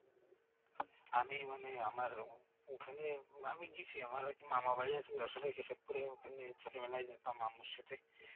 আমি মানে আমার ওখানে আমি গেছি আমার মামার বাড়ি হচ্ছে যশোর কেশবপুর এ ওখানে ছোটবেলায় যেতাম মামুর সাথে